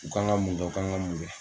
U kan ka mun kɛ, u kan ka mun kɛ